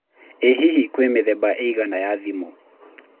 ĩ hihi kwĩna mĩthemba ĩigana ya thimu